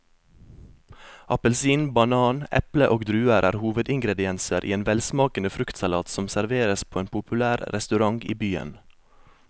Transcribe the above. Appelsin, banan, eple og druer er hovedingredienser i en velsmakende fruktsalat som serveres på en populær restaurant i byen.